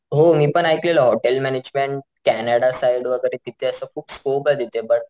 हो मी पण ऐकलेलं हॉटेल मॅनेजमेंट कॅनडा साइड वैगेरे तिथे असं खूप स्कोपे तिथं बट,